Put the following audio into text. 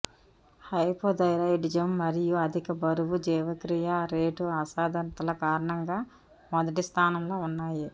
hypothyroidism మరియు అధిక బరువు జీవక్రియ రేటు అసాధారణతల కారణంగా మొదటి స్థానంలో ఉన్నాయి